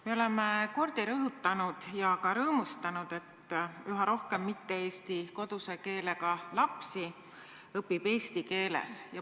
Me oleme palju kordi rõhutanud ja ka rõõmustanud, et üha rohkem mitte-eesti koduse keelega lapsi õpib eesti keeles.